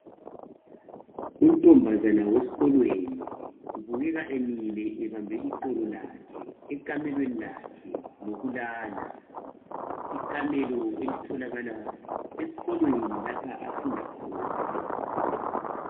Unkazana wesikolweni ubukeka emile ebambe iqolo lakhe ekamelweni lakhe lokulala ikamelo elitholakala esikolweni lapha afunda khona.